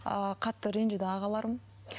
ыыы қатты ренжіді ағаларым